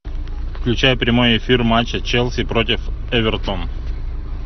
включай прямой эфир матча челси против эвертон